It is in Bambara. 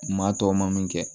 Maa tɔw ma min kɛ